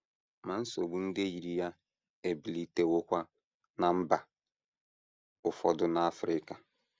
Ma nsogbu ndị yiri ya ebilitewokwa ná mba ụfọdụ n’Africa.